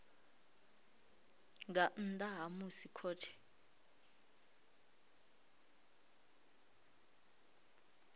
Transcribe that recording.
nga nnḓa ha musi khothe